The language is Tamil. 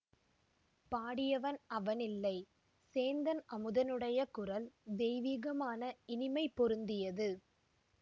பாடியவன் அவன் இல்லை சேந்தன் அமுதனுடைய குரல் தெய்வீகமான இனிமை பொருந்தியது